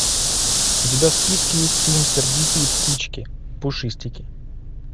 у тебя в списке есть фильм сердитые птички пушистики